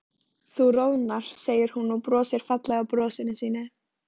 Þú roðnar, segir hún og brosir fallega brosinu sínu.